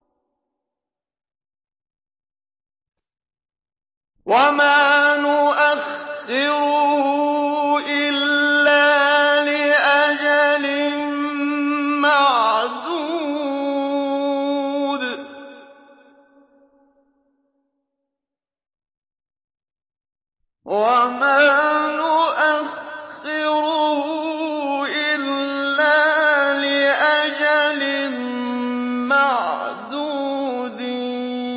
وَمَا نُؤَخِّرُهُ إِلَّا لِأَجَلٍ مَّعْدُودٍ